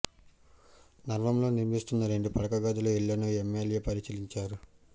నగరంలో నిర్మిస్తున్న రెండు పడక గదుల ఇళ్ళను ఎమ్మెల్యే పరిశీలించారు